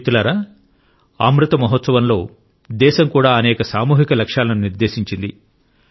మిత్రులారా అమృత మహోత్సవంలో దేశం కూడా అనేక సామూహిక లక్ష్యాలను నిర్దేశించింది